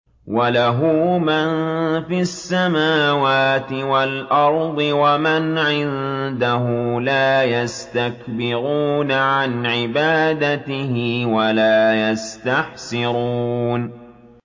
وَلَهُ مَن فِي السَّمَاوَاتِ وَالْأَرْضِ ۚ وَمَنْ عِندَهُ لَا يَسْتَكْبِرُونَ عَنْ عِبَادَتِهِ وَلَا يَسْتَحْسِرُونَ